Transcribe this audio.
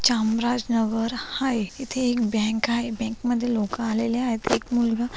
चामरजनगर आहे इथ एक बैंक आहे बँक मध्ये लोक आलेले आहे एक मुलगा --